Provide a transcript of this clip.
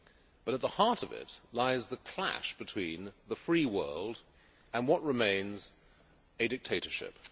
But at the heart of this lies the clash between the free world and what remains a dictatorship.